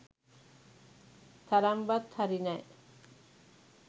තරම්වත් හරි නෑ